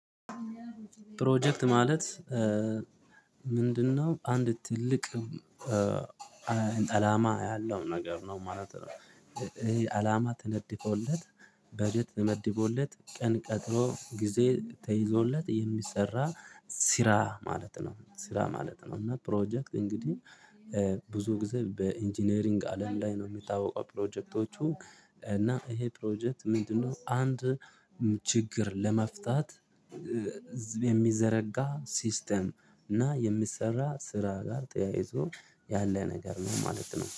ፕሮጀክት ማለት ምንድነው? አንድ ትልቅ አላማ ያለው ነገር ነው ማለት ነው። ይሄ አላማ ተነድፎለት በጀት ተመድቦለት ቀን ቀጥሮ ጊዜ ተይዞለት የሚሰራ ስራ ማለት ነው። ስራ ማለት ነው እና ፕሮጀክት እንግዲህ ብዙ ጊዜ በኢንጂነሪንግ አለም ላይ ነው የሚታወቀው። ፕሮጀክቶቹ እና ይሄ ፕሮጀክት ምንድነው? አንድ ችግር ለመፍታት ዝብ የሚዘረጋ ሲስተም እና የሚሰራ ስራ ጋር ተያይቶ ያለ ነገር ነው ማለት ነው